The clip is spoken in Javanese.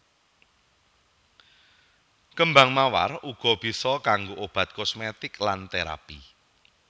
Kembang mawar uga bisa kanggo obat kosmetik lan terapi